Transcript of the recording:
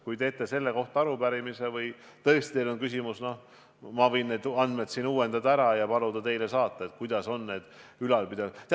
Kui esitate selle kohta arupärimise või teil on küsimus, siis ma võin neid andmeid siin uuendada ja paluda teile saata, et näeksite, kuidas nende ülalpidamiskuludega on.